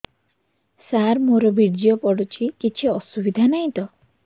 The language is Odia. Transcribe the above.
ସାର ମୋର ବୀର୍ଯ୍ୟ ପଡୁଛି କିଛି ଅସୁବିଧା ନାହିଁ ତ